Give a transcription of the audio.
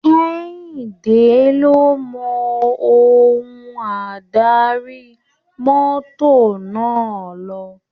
Kẹ́hìndé ló mọ ohun adarí mọ́tọ̀ náà lò.